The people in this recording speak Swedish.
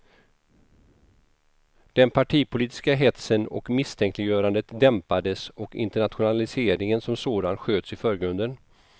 Den partipolitiska hetsen och misstänkliggörandet dämpades och internationaliseringen som sådan sköts i förgrunden.